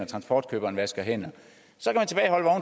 transportkøberen vasker hænder